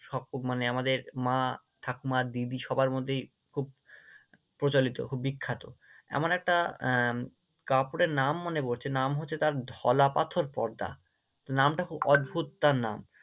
সব মানে আমাদের মা, ঠাকুমা, দিদি সবার মধ্যেই খুব প্রচলিত, খুব বিখ্যাত আমার একটা আহ কাপড়ের নাম মনে পড়ছে, নাম হচ্ছে তার ঢলা পাথর পর্দা, নামটা খুব অদ্ভুত তার নাম।